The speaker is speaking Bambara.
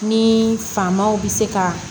Ni famaw bɛ se ka